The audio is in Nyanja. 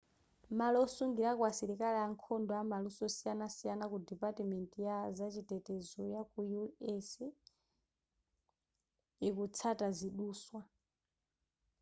malo osungilako asilikali ankhondo amaluso osiyanasiyana ku depatimenti ya zachitetezo yaku u.s. ikutsata ziduswa